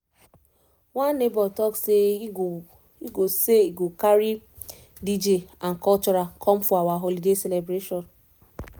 one neighbor talk say e go say e go carry dj and cultural come for our holiday celebration